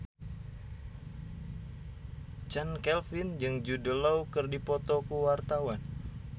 Chand Kelvin jeung Jude Law keur dipoto ku wartawan